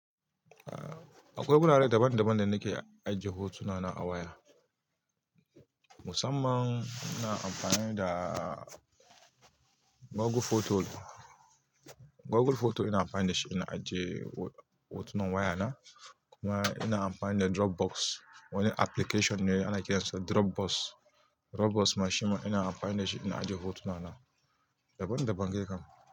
Akwai gurare dabamdaban da nike ajiye hotunana a waya. Musamman ina amfani da Google photo. Google photo ina amfani da shi ina ajiye hotunan waya na. Kuma ina amfani da dropbox, wani application ana kiransa dropbox Dropbox mashin ma ina amfani da shi ina ajiye hotuna na. Daban daban dai kam.